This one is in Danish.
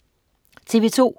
TV2: